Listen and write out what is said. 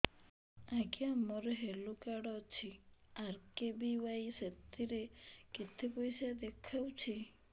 ଆଜ୍ଞା ମୋର health card ଅଛି ଆର୍.କେ.ବି.ୱାଇ ସେଥିରେ କେତେ ପଇସା ଦେଖଉଛି